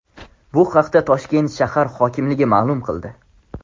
Bu haqda Toshkent shahar hokimligi ma’lum qildi .